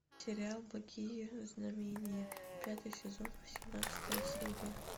сериал благие знамения пятый сезон восемнадцатая серия